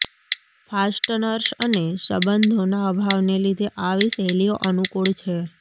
fasteners અને સંબંધોના અભાવને લીધે આવી શૈલીઓ અનુકૂળ છે